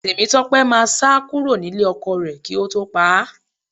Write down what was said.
Tèmítọ́pẹ́ máa sá kúrò nílé ọkọ rẹ̀ kí ó tó pá a